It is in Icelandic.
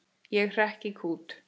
Ég hrekk í kút.